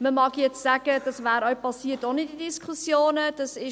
Man mag sagen, dass dies auch ohne diese Diskussionen passiert wäre.